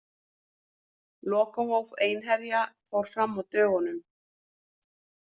Lokahóf Einherja fór fram á dögunum.